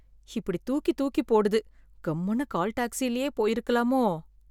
இப்படி தூக்கி தூக்கி போடுது, கம்முனு கால் டாக்சிலயே போயிருக்கலாமோ.